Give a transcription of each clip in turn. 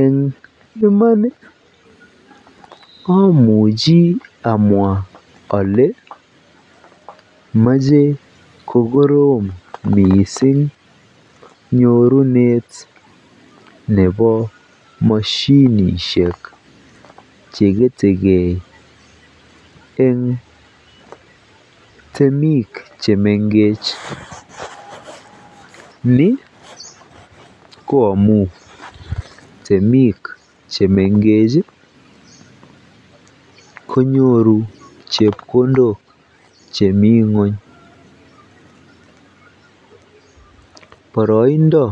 Eng iman amuchi amwaa olee moche kokorom mising nyorunet nebo moshinishek cheketeke eng temik chemengech, nii ko amun temik chemengech konyoru chepkondok chemii ngweny, boroindo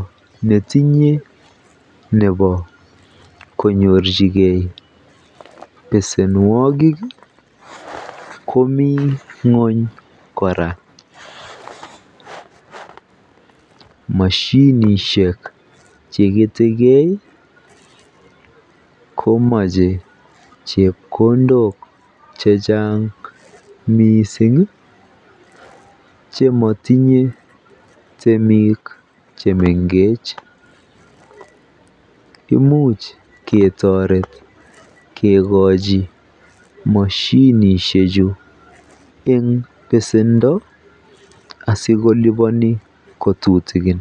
netinye nebo konyorchike besenwokik komii ngweny kora, moshinishek chekete keei komoche chepkondok chechang mising chemotinye temik chemengech, imuch ketoret kikochi moshinishechu en besendo asikoliboni ko tutukin.